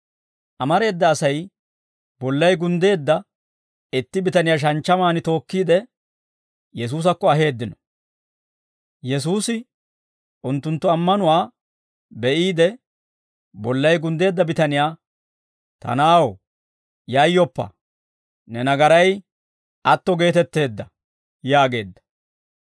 Amareeda Asay bollay gunddeedda itti bitaniyaa shanchchamaan tookkiide, Yesuusakko aheeddino; Yesuusi unttunttu ammanuwaa be'iide, bollay gunddeedda bitaniyaa, «Ta na'aw, yayyoppa; ne nagaray atto geetetteedda» yaageedda.